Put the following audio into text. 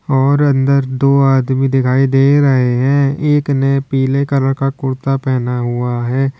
और अंदर दो आदमी दिखाई दे रहे हैं एक ने पीले कलर का कुर्ता पहना हुआ है।